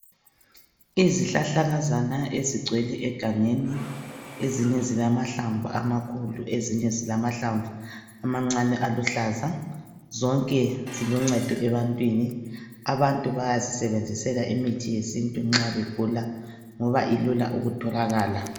Izihlahlakazana ezigcwele egangeni. Ezinye zilamahlamvu amakhulu. Ezinye zilahlamvu amancane, aluhlaza.. Zonke ziluncedo ebantwini. Abantu bayazisebenzisela imithi yesintu, nxa begula, ngoba ilula, ukutholakala.